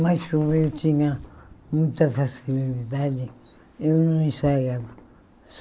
Mas como eu tinha muita facilidade, eu não ensaiava.